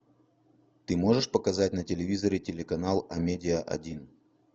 ты можешь показать на телевизоре телеканал амедиа один